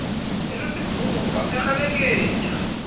e le sephoko a kgelekenya